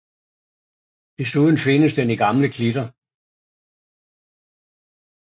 Desuden findes den i gamle klitter